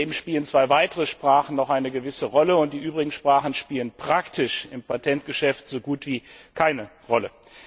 Daneben spielen zwei weitere Sprachen noch eine gewisse Rolle, und die übrigen Sprachen spielen praktisch im Patentgeschäft so gut wie keine Rolle.